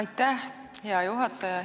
Aitäh, hea juhataja!